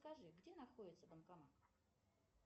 скажи где находится банкомат